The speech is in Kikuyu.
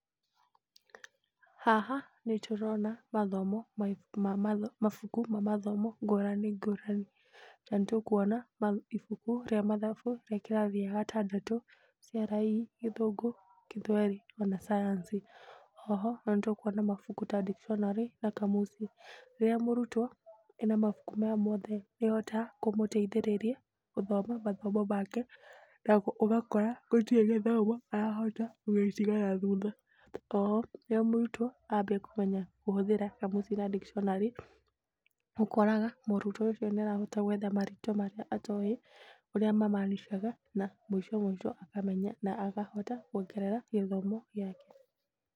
Haha nĩtũrona mathomo ma mabuku ma mathomo ngũrani ngũrani. Na nĩtũkuona ibuku rĩa mathabu rĩa kĩrathi gĩa gatandatũ CRE, Gĩthũngũ, Gĩthweri, ona Science. Oho na nĩtũkuona mabuku ta Dictionary na Kamusi. Rĩrĩa mũrutwo ena mabuku maya mothe, nĩhotaga kũmũteithĩrĩria gũthoma mathomo make na ũgakora gũtirĩ gĩthomo arahota gũgĩtiga nathutha. Oho rĩrĩa mũrutwo ambia kũmenya kũhũthĩra Kamusi na Dictionary, ũkoraga mũrutwo ũcio nĩarahota gwetha marĩtwa marĩa atoĩ ũrĩa mamaanishaga na mũico mũico akamenya na akahota kuongerera gĩthomo gĩake.